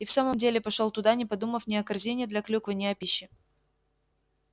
и в самом деле пошёл туда не подумав ни о корзине для клюквы ни о пище